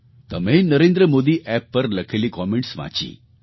તમે NarendraModiApp પર લખેલી કૉમેન્ટસ વાંચી